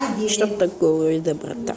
что такое доброта